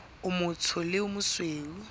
o motsho le o mosweu